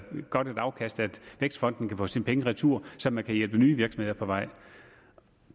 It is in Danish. godt afkast at vækstfonden kan få sine penge retur så man kan hjælpe nye virksomheder på vej